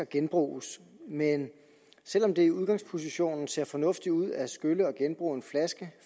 genbruges men selv om det i udgangspositionen ser fornuftigt ud at skylle og genbruge en flaske